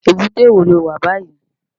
Ébúté wó ló wá bàyí?